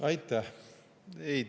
Aitäh!